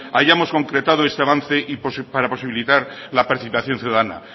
hayamos concretado este avance para posibilitar la participación ciudadana